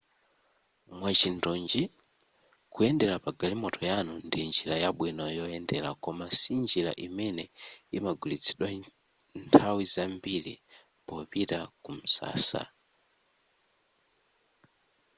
mwachindunji kuyenda pa galimoto yanu ndi njira yabwino yoyendera koma sinjira imene imagwiritsidwa nthawi zambiri popita ku msasa